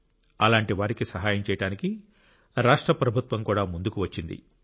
అలాంటి వారికి సహాయం చేయడానికి రాష్ట్ర ప్రభుత్వం కూడా ముందుకు వచ్చింది